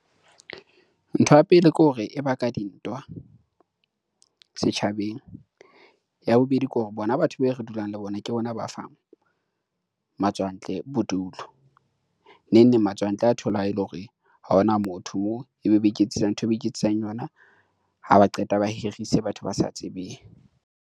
Ntho ya pele ke hore e ba ka dintwa, setjhabeng. Ya bobedi, ke hore bona batho be re dulang le bona, ke bona ba fang matswantle bodulo. Neng neng matswantle a thola e le hore ha hona motho, ebe ba iketsetsa ntho eo ba iketsetsang yona. Ha ba qeta ba hirise batho ba sa tsebeng.